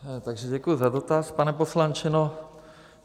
Takže děkuji za dotaz, pane poslanče.